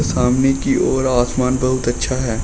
सामने की ओर आसमान बहुत अच्छा है।